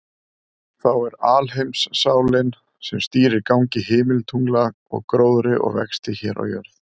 Þá er alheimssálin, sem stýrir gangi himintungla og gróðri og vexti hér á jörð.